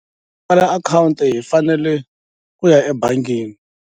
account hi fanele ku ya ebangini.